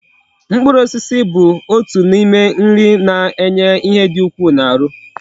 Mkpụrụ osisi bụ otu na ime nri na enye ihe di ukwu na aru